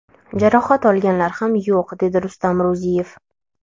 Jarohat olganlar ham yo‘q, dedi Rustam Ro‘ziyev.